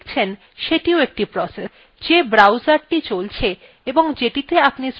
যেই browserthe চলছে এবং যেটিতে আপনি spoken tutorial websitethe খুলেছেন সেটিও একটি process